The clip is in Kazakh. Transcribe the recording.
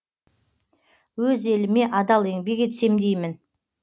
өз еліме адал еңбек етсем деймін